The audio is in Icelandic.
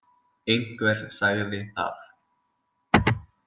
Einhver sagði það.